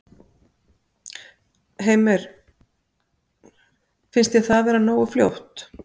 Heimir: Finnst þér það vera nógu fljótt?